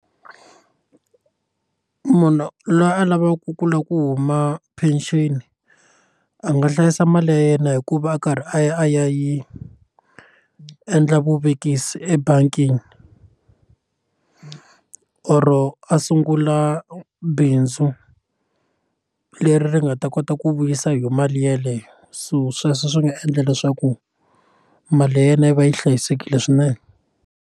Munhu loyi a lavaku ku lava ku huma pension a nga hlayisa mali ya yena hikuva a karhi a ya a ya yi endla vuvekisi ebangini oro a sungula bindzu leri ri nga ta kota ku vuyisa yo mali yeleyo so sweswo swi nga endla leswaku mali ya yena yi va yi hlayisekile swinene.